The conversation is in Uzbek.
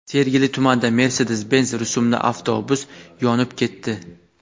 Sergeli tumanida Mercedes-Benz rusumli avtobus yonib ketdi.